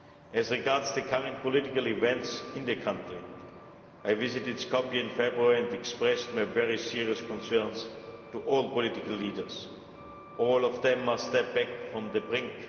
As regards the current political events in the country, I visited Skopje in February and expressed my very serious concerns to all political leaders. All of them must step back from the brink.